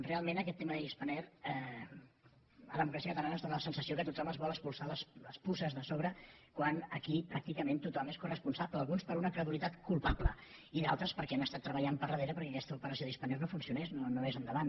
realment en aquest tema de spanair a democràcia catalana ens dóna la sensació que tothom es vol espolsar les puces de sobre quan aquí pràcticament tothom n’és coresponsable alguns per una credulitat culpable i d’altres perquè han estat treballant per darrere perquè aquesta operació de spanair no funcionés no anés endavant